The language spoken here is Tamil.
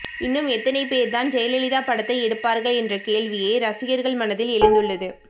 இன்னும் எத்தனை பேர் தான் ஜெயலலிதா படத்தை எடுப்பார்கள் என்ற கேள்வியே ரசிகர்கள் மனதில் எழுந்துள்ளது